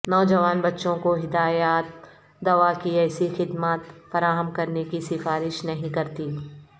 نوجوان بچوں کو ہدایات دوا کی ایسی خدمات فراہم کرنے کی سفارش نہیں کرتی